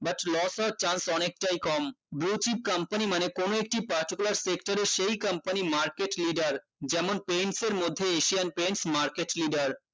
but loss হওয়ার chance অনেকটাই কম Bluechip company মানে কোনো একটি particular sector এ সেই company market leader যেমন paints এর মধ্যে Asian Pants Market leader